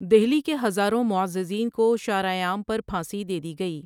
دہلی کے ہزاروں معززین کو شار عام پر پھانسی دیدی گئی ۔